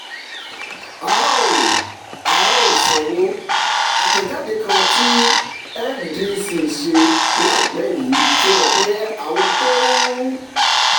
a ó a ó sanwó: àtẹ̀jáde kan tí fdic ṣe láìpẹ́ yìí fi hàn pé àwọn tó ń